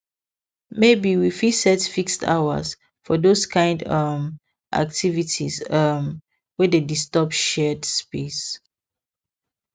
maybe we fit set fixed hours for those kind um activities um wey dey disturb shared space